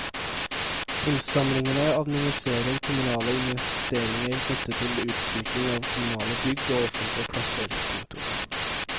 Kunstsamlingene administrerer kommunale investeringer knyttet til utsmykking av kommunale bygg og offentlige plasser. punktum